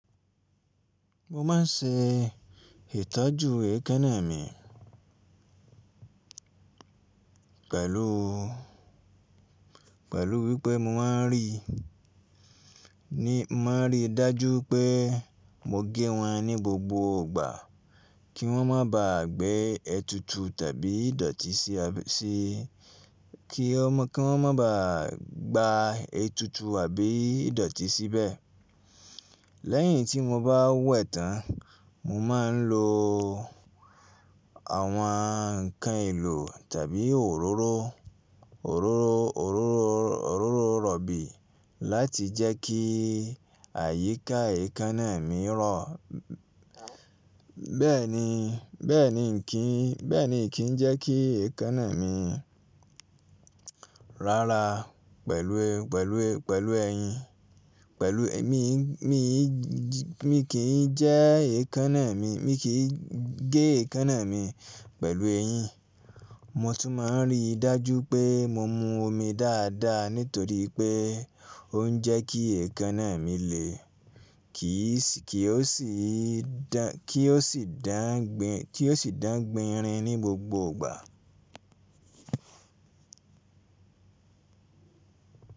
Mó máa n ṣe ìtọ́jú èékánná mi pẹ̀lú, pẹ̀lú wípé mó máa n rí, mó máa n rí dájú pé mó gé wọn ní gbògbò ìgbà kí wọ́n má ba à gbá ètùtù tàbí ìdọ̀tí sí, kí wọ́n, kí wọ́n má ba à gbá ètùtù àbí ìdọ̀tí síbẹ̀. Lẹ́yìn tí mo bá wẹ̀ tán, mo ma n lo àwọn ǹkan èlò tàbí òróró, òróró, òróró, òróró rọ̀bì láti jẹ́ kí àyíká èékánná mi rọ̀. Bẹ́ẹ̀ ni, bẹ́ẹ̀ ni kí n, bẹ́ẹ̀ ni kì í jẹ́ kí èékánná mi rárà pẹ̀lú, pẹ̀lú, pẹ̀lú ẹyin, pẹ̀lú èmi, mi, mi kì í jẹ́ èékánná mi, mi kì í gé èékánná mi pẹ̀lú ẹyín. Mo tún ma n rí dájú pé mo mu omi dáadáa nítorí pé ó ń jẹ́ kí èékánná mi lè, kì í sì, kí ó sì dán, kí ó sì dán gbònràn ní gbògbò ìgbà.